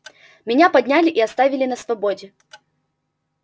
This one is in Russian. меня подняли и оставили на свободе